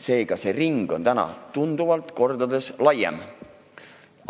Seega, see probleemide ring on tunduvalt laiem.